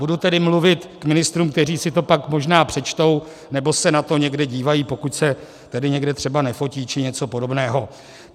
Budu tedy mluvit k ministrům, kteří si to pak možná přečtou nebo se na to někde dívají, pokud se tedy někde třeba nefotí či něco podobného.